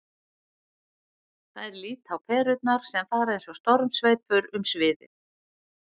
Þær líta á perurnar sem fara eins og stormsveipur um sviðið.